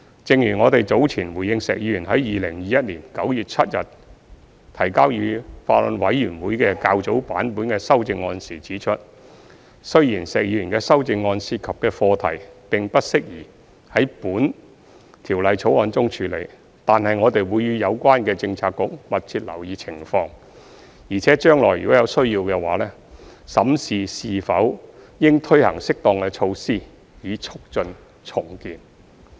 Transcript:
正如我們早前回應石議員於2021年9月7日提交予法案委員會的較早版本的修正案時指出，雖然石議員的修正案涉及的課題並不適宜在《條例草案》中處理，但我們會與有關政策局密切留意情況，並且將來如有需要的話，審視是否應推行適當的措施以促進重建。